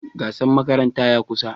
Gasar makaranta ya kusa.